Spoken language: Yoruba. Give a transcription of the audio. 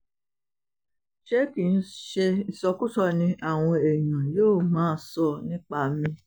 ṣé kì í ṣe ìsọkúsọ ni àwọn èèyàn yóò máa sọ nípa mi